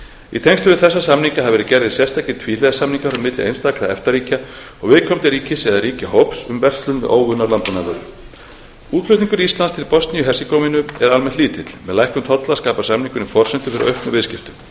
í tengslum við þessa samninga hafa verið gerðir sérstakir tvíhliða samningar milli einstakra efta ríkja og viðkomandi ríkis eða ríkjahóps um verslun með óunnar landbúnaðarvörur útflutningur íslands til bosníu og hersegóvínu er almennt lítill með lækkun tolla skapar samningurinn forsendur fyrir auknum viðskiptum